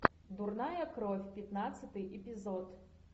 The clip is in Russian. дурная кровь пятнадцатый эпизод